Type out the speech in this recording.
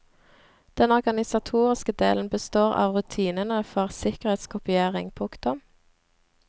Den organisatoriske delen består av rutinene for sikkerhetskopiering. punktum